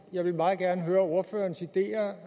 jeg vil meget gerne høre ordførerens ideer